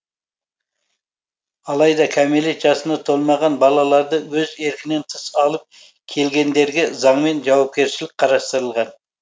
алайда кәмілет жасына толмаған балаларды өз еркінен тыс алып келгендерге заңмен жауапкершілік қарастырылған